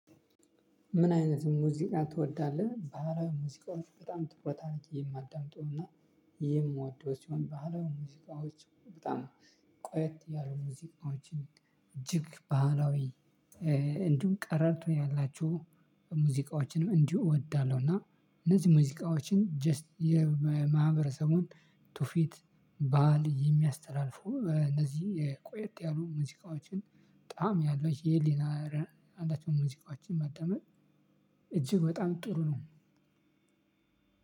ምን አይነት ሙዚቃ ትወዳለህ? ባህላዊ ሙዚቃዎች በጣም ትኩረት አድርጌ የማዳምጠው እና የምወደው ሲሆን ባህላዊ ሙዚቃዎች በጣም ቆየት ያሉ ሙዚቃዎችን እጅግ ባህላዊ እንዲሁም ቀረርቶ ያላችሁ ሙዚቃዎችንም እንዲሁ እወዳለሁ። እና እነዚህ ሙዚቃዎችን 'ጀስት' የማህበረሰቡን ቱፊት ባህል የሚያስተላልፉ እነዚህ ቆየት ያሉ ሙዚቃዎችን ጣም ያለው ይሄ የሌላ 'ከለር' ሙዚቃዎችን ማዳመጥ በጣም ጥሩ ነው።